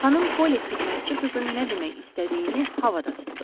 Xanım Poli xidmətçi qızın nə demək istədiyini havada tutdu.